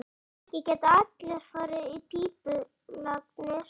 Ekki geta allir farið í pípulagnir.